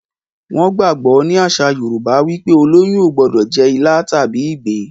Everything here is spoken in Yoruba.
wón gbagbọ ní àṣà yorúbá wípé oloyún o gbódò jé ila tàbí ìgbín.